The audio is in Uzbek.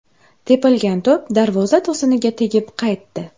Tepilgan to‘p darvoza to‘siniga tegib qaytdi.